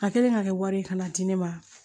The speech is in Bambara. A kɛlen ka kɛ wari ye ka na di ne ma